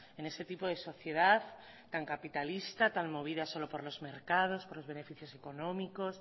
en ese tipo de sociedad tan capitalista tan movida solo por los mercados por los beneficios económicos